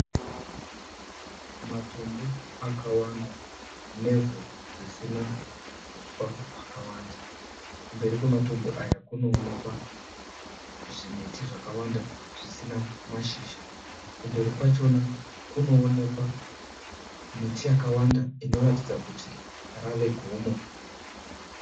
Matombo akawanda nevhu risina huswa hwakawanda. Kumberi kwematombo aya kunoonekwa zvimiti zvakawanda zvisina mashizha, kumberi kwachona kunoonekwa miti yakawanda inoratidza kuti rave gomo